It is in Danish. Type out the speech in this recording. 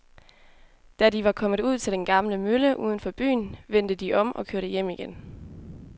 Da de var kommet ud til den gamle mølle uden for byen, vendte de om og kørte hjem igen.